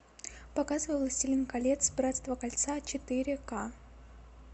показывай властелин колец братство кольца четыре ка